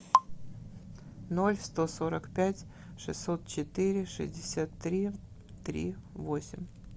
ноль сто сорок пять шестьсот четыре шестьдесят три три восемь